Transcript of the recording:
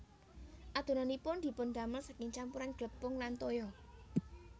Adonanipun dipundamel saking campuran glepung lan toya